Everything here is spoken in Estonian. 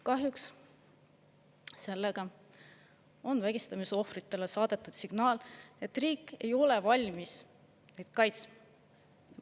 " Kahjuks sellega on vägistamisohvritele saadetud signaal, et riik ei ole valmis neid kaitsma.